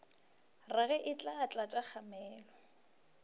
rage e tla tlatša kgamelo